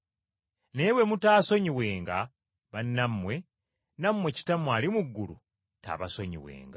Naye bwe mutaasonyiwenga bannammwe, nammwe Kitammwe ali mu ggulu taabasonyiwenga.”